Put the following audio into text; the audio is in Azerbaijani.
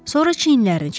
Sonra çiyinlərini çəkdi.